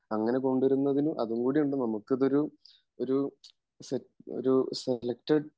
അങ്ങനെ പോണ്ടിരുന്നതിന് അതുംകൂടിയുണ്ട് നമ്മുക്കിതൊരു ഒരു സെലെക്ടഡ്